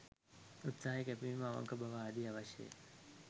උත්සාහය, කැපවීම, අවංක බව ආදිය අවශ්‍යය ය.